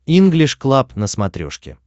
инглиш клаб на смотрешке